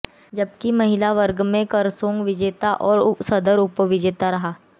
जबकि महिला वर्ग में करसोग विजेता और सदर उपविजेता रहा